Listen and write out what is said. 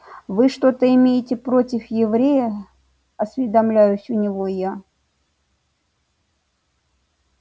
вы что-то имеете против еврея осведомляюсь у него я